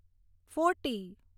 forty